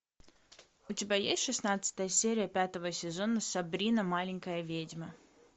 у тебя есть шестнадцатая серия пятого сезона сабрина маленькая ведьма